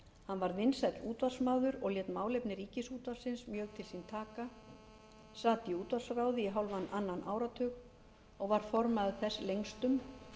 hann varð vinsæll útvarpsmaður og lét málefni ríkisútvarpsins mjög til sín taka sat í útvarpsráði í hálfan annan áratug og var formaður þess lengstum